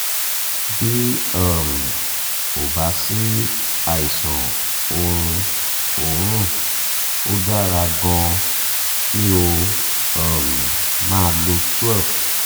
bí um ó bá sí àìsàn orun oorun ó dára gan-an kí o um máa lo twelve